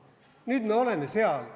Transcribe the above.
Nüüd me oleme seal.